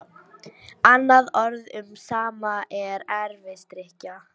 Annað orð um sama er erfisdrykkja.